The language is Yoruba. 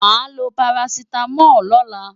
Màá lo parasítámọ̀ lọ́la.